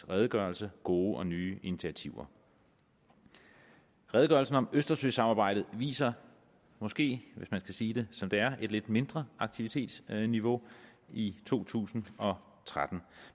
redegørelse gode og nye initiativer redegørelsen om østersøsamarbejdet viser måske hvis man skal sige det som det er et lidt mindre aktivitetsniveau i to tusind og tretten